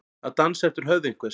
Að dansa eftir höfði einhvers